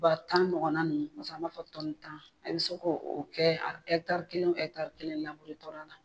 Ba tan ɲɔgɔnna nunnu kumacaman an b'a fɔ tɔni tan a be se k'o kɛ a ɛtari kelen o ɛtari kelen laburu tɔla la